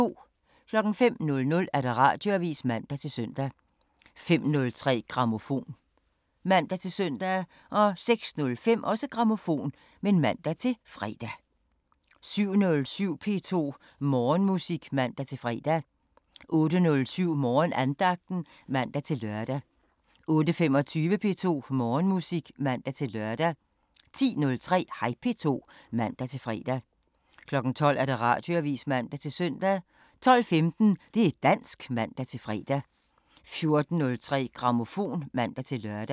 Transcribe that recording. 05:00: Radioavisen (man-søn) 05:03: Grammofon (man-søn) 06:05: Grammofon (man-fre) 07:07: P2 Morgenmusik (man-fre) 08:07: Morgenandagten (man-lør) 08:25: P2 Morgenmusik (man-lør) 10:03: Hej P2 (man-fre) 12:00: Radioavisen (man-søn) 12:15: Det' dansk (man-fre) 14:03: Grammofon (man-lør)